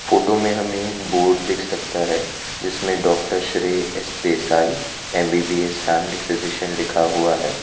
Photo में हमे एक बोर्ड दिख सकता है जिसमे doctor Shrey S Desai MBBS family physician लिखा हुआ है।